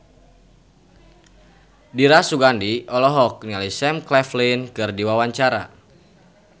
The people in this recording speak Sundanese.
Dira Sugandi olohok ningali Sam Claflin keur diwawancara